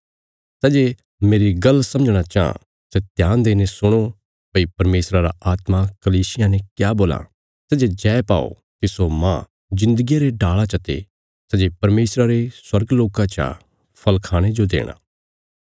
सै जे मेरी गल्ल समझणा चाँह सै ध्यान देईने सुणो भई परमेशरा रा आत्मा कलीसियां ने क्या बोलां सै जे जय पाओ तिस्सो मांह जिन्दगिया रे डाल़ा चते सै जे परमेशरा रे स्वर्ग लोका चा फल़ खाणे जो देणा